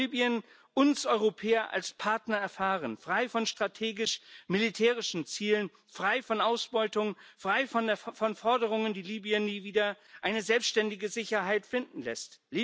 Wie kann Libyen uns Europäer als Partner erfahren, frei von strategisch militärischen Zielen, frei von Ausbeutung, frei von Forderungen, die Libyen nie wieder eine selbständige Sicherheit finden lassen?